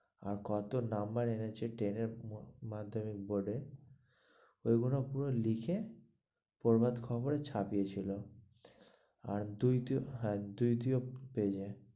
আর কত নম্বর এনেছে ten এ ম্যাধমিক বোর্ড এর ওই গুলো পুরো লিখে বরবাদ খবরে ছাপিয়ে ছিল, আর দুই দুই হ্যাঁ দুই দুই পেয়ে যাই.